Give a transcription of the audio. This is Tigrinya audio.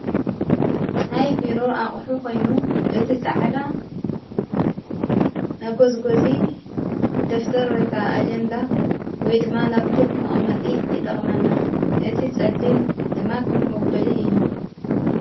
ናይ ቢሮ ኣቕሑ ኾይኑ ፤ እቲ ፃዕዳ ነጐዝጐዙ ደፍተር ወይካ ኣጀንዳ ወይ ድማ ላጵቶብ መቐመጢ ይጠቕመና። እቲ ጸሊም ድማ ከፍ መበሊ እዩ።